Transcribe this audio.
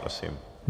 Prosím.